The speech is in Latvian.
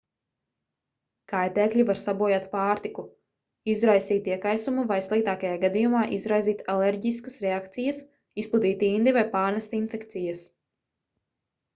kaitēkļi var sabojāt pārtiku izraisīt iekaisumu vai sliktākajā gadījumā izraisīt alerģiskas reakcijas izplatīt indi vai pārnest infekcijas